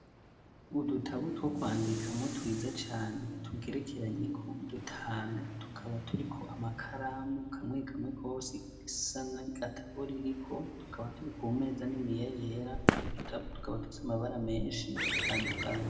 Udutabu two kwandikamo twiza cane tugerekeranye ko dutanu tukaba turi ko amakaramu kamwekamwe kose isa na gatabo buririko tukaba turi ko meza nini ya yera twodutabu tukaba tufise amabara menshi atandukanye.